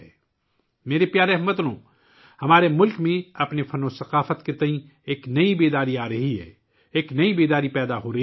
میرے پیارے ہم وطنو، ہمارے ملک میں اپنے فن اور ثقافت کے بارے میں ایک نیا شعور آ رہا ہے، ایک نیا شعور بیدار ہو رہا ہے